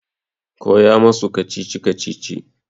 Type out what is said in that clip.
Koya masu kacici-kacici!